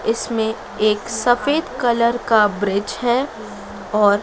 इसमें एक सफेद कलर का ब्रिज है और--